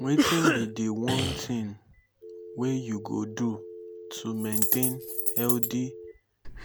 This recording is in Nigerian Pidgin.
wetin be di one thing wey you go do to maintain healthy